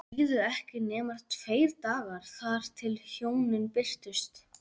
Það liðu ekki nema tveir dagar þar til hjónin birtust.